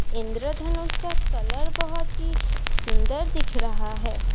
इंद्र धनुष का कलर बहुत ही सुंदर दिख रहा है।